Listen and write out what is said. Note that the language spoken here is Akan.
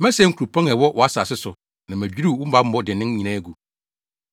Mɛsɛe nkuropɔn a ɛwɔ wʼasase so na madwiriw wo bammɔ dennen nyinaa agu.